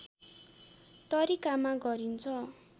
तरिकामा गरिन्छ